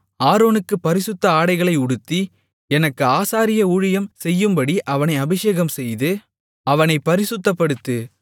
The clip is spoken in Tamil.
ஆரோனுக்குப் பரிசுத்த ஆடைகளை உடுத்தி எனக்கு ஆசாரிய ஊழியம் செய்யும்படி அவனை அபிஷேகம்செய்து அவனைப் பரிசுத்தப்படுத்து